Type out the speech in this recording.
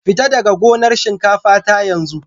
Fita daga gonar shinkafa ta yanzu!